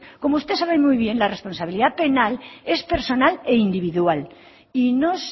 como usted sabe muy bien la responsabilidad penal es personal e individual y no